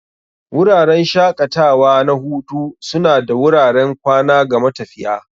Wuraren shaƙatawa na hutu suna ba da wuraren kwana ga matafiya.